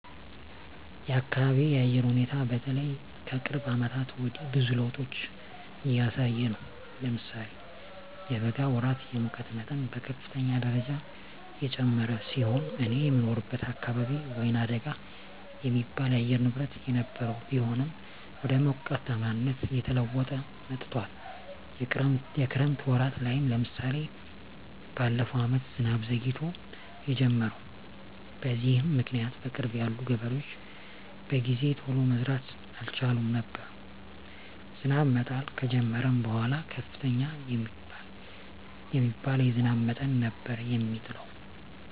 የአካቢየ የአየር ሁኔታ በተለይ ከቅርብ አመታት ወዲህ ብዙ ለዉጦች እያሳየ ነው። ለምሳሌ የበጋ ወራት የሙቀት መጠን በከፍተኛ ደረጃ የጨመረ ሲሆን እኔ የምኖርበት አካባቢ ወይናደጋ የሚባል የአየር ንብረት የነበረው ቢሆንም ወደ ሞቃታማነት እየተለወጠ መጥቶአል። የክረምት ወራት ላይም ለምሳሌ በለፈው አመት ዝናብ ዘግይቶ የጀመረው። በዚህም ምክኒያት በቅርብ ያሉ ገበሬዎች በጊዜ ቶሎ መዝራት አልቻሉም ነበር። ዝናብ መጣል ከጀመረም በኃላ ከፍተኛ የሚባል የዝናብ መጠን ነበር የሚጥለው።